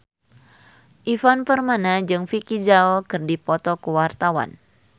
Ivan Permana jeung Vicki Zao keur dipoto ku wartawan